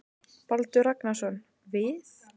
Baldur Ragnarsson: Við?